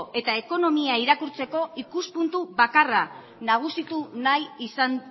eta ekonomia irakurtzeko ikuspuntu bakarra nagusitu nahi izan